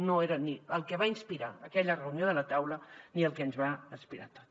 no era el que va inspirar aquella reunió de la taula ni el que ho va inspirar tot